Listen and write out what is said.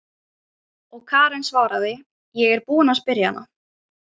Og Karen svaraði: Ég er búin að spyrja hana.